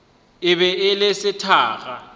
e be e le sethakga